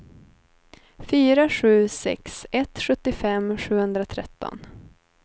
fyra sju sex ett sjuttiofem sjuhundratretton